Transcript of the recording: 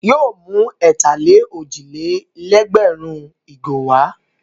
Yóò mú ẹ̀tà-lé-òjì-lé-lẹ́gbẹ̀rún ìgò wá.